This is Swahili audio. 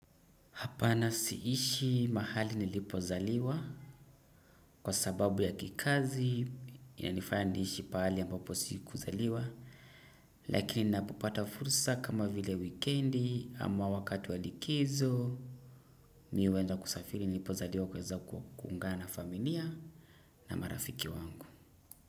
Hapana siishi mahali nilipozaliwa kwa sababu ya kikazi inanifaya niishi pali ambapo siku zaliwa. Lakini napopata fursa kama vile wikendi ama wakatu walikizo mi uweza kusafiri nilipozaliwa kweza kuungana familia na marafiki wangu.